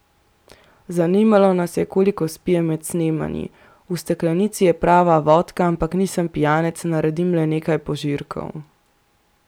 Zanimalo nas je, koliko spije med snemanji: ''V steklenici je prava vodka, ampak nisem pijanec, naredim le nekaj požirkov.